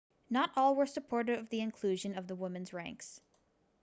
not all were supportive of the inclusion of the women's ranks